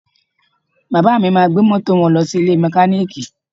Bàbá mi máa gbé mọ́tò wọn lọ sí ilé mẹkáníìkì